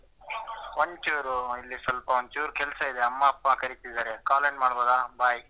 ಒಂದ್ ಚೂರು ಇಲ್ಲಿ ಸ್ವಲ್ಪ ಒಂದ್ ಚೂರು ಕೆಲ್ಸ ಇದೆ ಅಮ್ಮ ಅಪ್ಪ ಕರೀತಿದಾರೆ ಆಮೇಲೆ ಮಾಡ್ಬೋದಾ bye .